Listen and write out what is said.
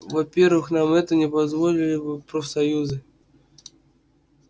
во-первых нам это не позволили бы профсоюзы